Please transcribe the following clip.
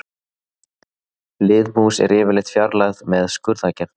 Liðmús er yfirleitt fjarlægð með skurðaðgerð.